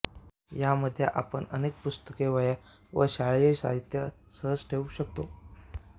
या मध्ये आपण अनेक पुस्तके वह्या व शालेय साहित्य सहज ठेवू शकतो